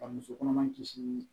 Ka musokɔnɔma kisi